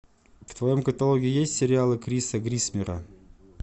в твоем каталоге есть сериалы криса грисмера